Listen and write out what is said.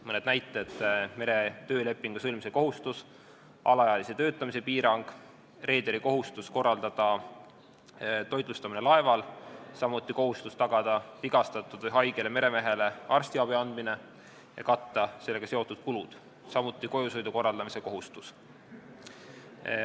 Mõned näited: meretöölepingu sõlmimise kohustus, alaealise töötamise piirang, reederi kohustus korraldada toitlustamine laeval, samuti kohustus tagada vigastatud või haigele meremehele arstiabi andmine ja katta sellega seotud kulud, samuti kojusõidu korraldamise kohustus.